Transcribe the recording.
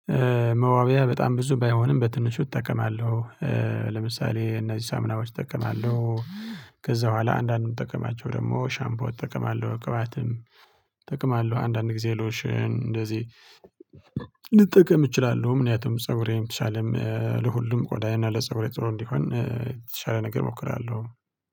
መዋብያ በጣም ብዙ ባይሆንም በትንሹ እጠቀማለው። ለምሳሌ እነዚህ ሳምናዎች እጠቀማለው። ከዛ በኋላ አንዳንድ የምጠቀማቸው ደግሞ ሻምቦ እጠቀማለው ቅባትም እጠቀማለሁ። አንዳንድ ጊዜ ሎሽን እንደዚህ። ልጠቀም እችላለው ምናምን ፀጉሬም የተሻለም ለሁሉም ቆዳዬና ለፀጉሬ ጥሩ እንዲሆን የተሻለ ነገር እሞክራለው